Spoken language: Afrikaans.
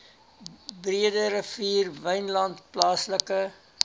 breederivier wynland plaaslike